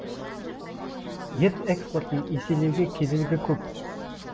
ет экспортын еселеуге кедергі көп